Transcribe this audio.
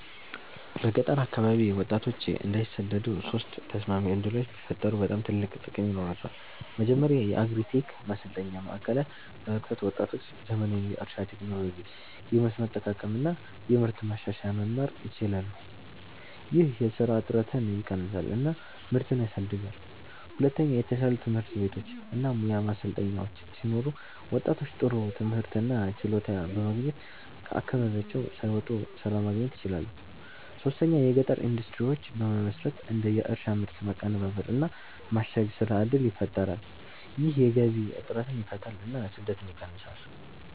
በገጠር አካባቢ ወጣቶች እንዳይሰደዱ ሶስት ተስማሚ ዕድሎች ቢፈጠሩ በጣም ትልቅ ጥቅም ይኖራቸዋል። መጀመሪያ የአግሪ-ቴክ ማሰልጠኛ ማዕከላት በመክፈት ወጣቶች ዘመናዊ የእርሻ ቴክኖሎጂ፣ የመስኖ አጠቃቀም እና የምርት ማሻሻያ መማር ይችላሉ። ይህ የስራ እጥረትን ይቀንሳል እና ምርትን ያሳድጋል። ሁለተኛ የተሻሉ ትምህርት ቤቶች እና ሙያ ማሰልጠኛዎች ሲኖሩ ወጣቶች ጥሩ ትምህርት እና ችሎታ በማግኘት ከአካባቢያቸው ሳይወጡ ስራ ማግኘት ይችላሉ። ሶስተኛ የገጠር ኢንዱስትሪዎች በመመስረት እንደ የእርሻ ምርት ማቀናበር እና ማሸግ ስራ እድል ይፈጠራል። ይህ የገቢ እጥረትን ይፈታል እና ስደትን ይቀንሳል።